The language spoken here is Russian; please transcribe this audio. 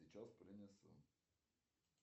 сейчас принесу